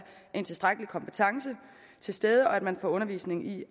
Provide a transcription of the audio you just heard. en tilstrækkelig kompetence til stede og at man får undervisning i